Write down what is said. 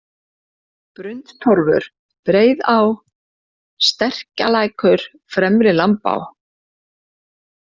Brundtorfur, Breiðá, Sterkkjarlækur, Fremri-Lambá